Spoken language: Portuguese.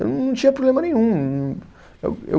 Eu não tinha problema nenhum. Eu eu